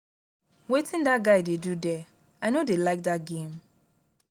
wetin dat guy dey do there? i no dey like dat game